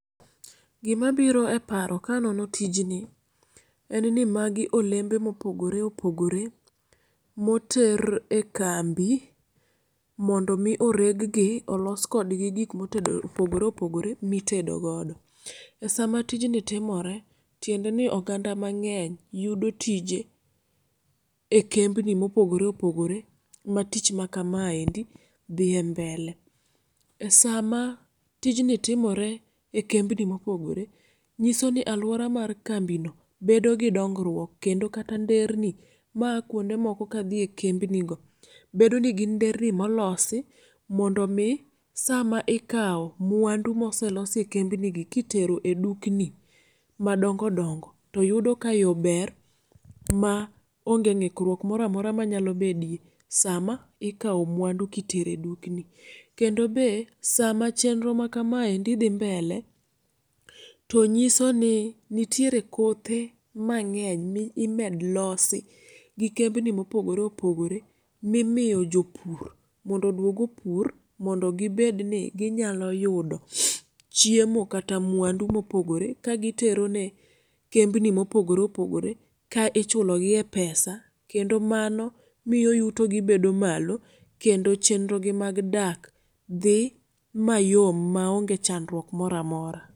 Gima biro eparo kanono tijni en ni magi olembe mopogore opogore moter ekambi mondo mi oreggi olos kodgi gik mitedo opogore opogore mitedo godo. Esama tijni timore tiendeni oganda mang'eny yudo tije ekembni mopogore opogore ma tich ma kamaendi dhie mbele. Esama tijni timore ekembni mopogore nyisoni aluora mar kambino bedo gi dongruok kendo kata nderni ma aa kuonde moko kadhie ekembnigo bedo nigi nderni molosi mondo mii sama ikawo mwandu moselosi ekembnigi kitero edukni madongo dongo toyudo ka yoo ber ma onge ng'ikruok moro amora manyalo bedie sama ikawo mwandu kitero edukni. Kendo be sama chenro makamaendi dhi mbele tonyisoni nitiere kothe mang'eny mimed losi gikembni mopogore opogore mimiyo jopur mondo oduog opur mondo gibedni ginyalo yudo chiemo kata mwandu mopogore ka giterone kembni mopogore opogore ka ichulo gie e pesa. Kendo manomiyo yutogi bedo malo kendo chenrogi mag dak dhi mayom maonge chandruok moro amora.